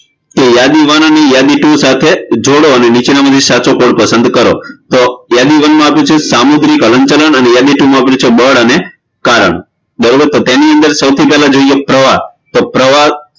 યાદી one અને યાદી two સાથે જોડો અને નીચેનામાંથી સાચો વિકલ્પ પસંદ કરો તો યાદી one માં આપ્યું છે સામુદ્રિક હલનચલન અને યાદી two માં આપ્યું છે બળ અને પ્રવાહ એની અંદર સૌથી પેલા જોઈએ પ્રવાહ તો